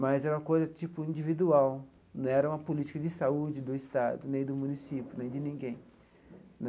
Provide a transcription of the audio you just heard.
Mas era uma coisa tipo individual, não era uma política de saúde do Estado, nem do município, nem de ninguém.